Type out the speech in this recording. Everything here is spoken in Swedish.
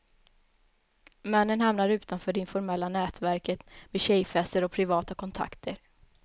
Männen hamnar utanför det informella nätverket, med tjejfester och privata kontakter.